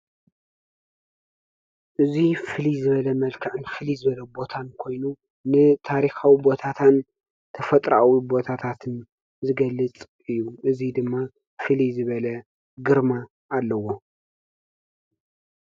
እዚ ፍልይ ዝበለ መልክዕን ቦታን ኮይኑ ንታሪካዊ ቦታትን ተፈጥሮአዊ ቦታታት ዝገልፅ እዩ። እዙይ ድማ ፍልይ ዝበለ ግርማ አለዎ።